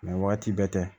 waati bɛɛ tɛ